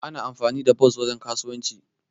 Ana amfani da bos wajen kasuwanci.